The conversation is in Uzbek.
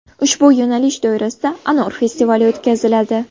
Ushbu yo‘nalish doirasida Anor festivali o‘tkaziladi.